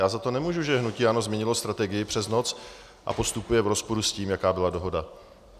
Já za to nemůžu, že hnutí ANO změnilo strategii přes noc a postupuje v rozporu s tím, jaká byla dohoda.